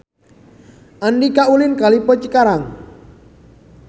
Andika ulin ka Lippo Cikarang